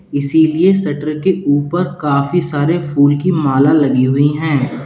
इसीलिए शटर के ऊपर काफी सारे फूल की माला लगी हुई है।